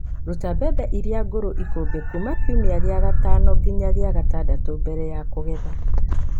Ruta mbembe iria ngũrũ ikũmbĩ kuma kiumia-inĩ gĩa gatano nginya gĩa gatandatũ mbere ya kũgetha.